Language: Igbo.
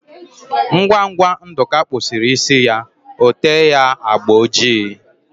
Ngwa ngwa Nduka kpusiri isi ya, ote ya agba ojii